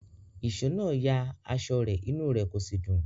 Ìṣó náà ya aṣọ rẹ̀, inú rẹ̀ kò sì dùn.